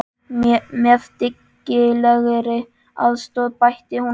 Með dyggilegri aðstoð, bætti hún við.